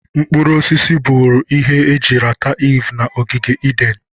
Mkpụrụ osisi bụrụ ihe eji rata Iv na ogige Eden.